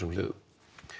hliðum